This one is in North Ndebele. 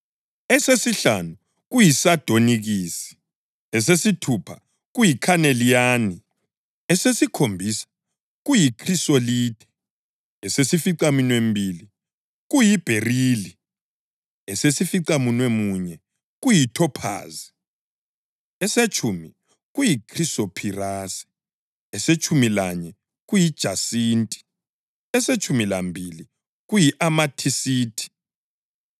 esesihlanu kuyisadonikisi, esesithupha kuyikhaneliyani, esesikhombisa kuyikhrisolithe, esesificaminwembili kuyibherili, esesificamunwemuye kuyithophazi, esetshumi kuyikhrisophirase, esetshumi lanye kuyijasinti, esetshumi lambili kuyi-amethisithi.